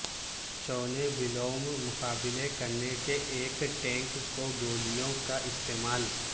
چونے بلوم مقابلہ کرنے کے ایک ٹینک کو گولیوں کا استعمال